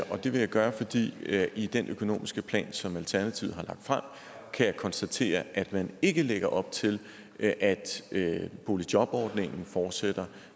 og det vil jeg gøre fordi jeg i den økonomiske plan som alternativet har lagt frem kan konstatere at man ikke lægger op til at at boligjobordningen fortsætter